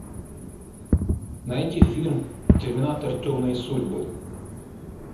найди фильм терминатор темные судьбы